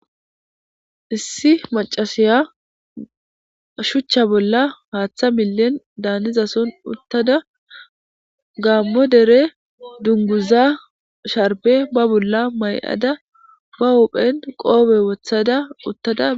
Issi maccasiya shuchcha bolla haaththa millen daanizason uththada gaammo dere dungguzzaa sharbbe ba bolla may7ada ba huuphen qoophedan woththada.